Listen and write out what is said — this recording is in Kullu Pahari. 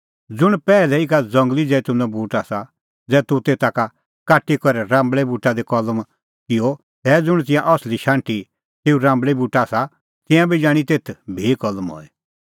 ज़ुंण पैहलै ई का ज़ंगली जैतूनो बूट आसा ज़ै तूह तेता का काटी करै राम्बल़ै बूटा दी कलम किअ तै ज़ुंण तिंयां असली शाण्हटी तेऊ ई राम्बल़ै बूटे आसा तिंयां बी जाणीं तेथ भी कलम हई